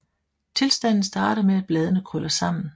Tilstanden starter med at bladene krøller sammen